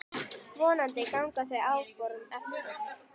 Vonandi ganga þau áform eftir.